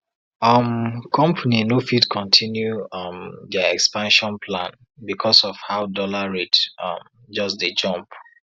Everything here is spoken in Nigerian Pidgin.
um company no fit continue um their expansion plan because of how dollar rate um just dey jump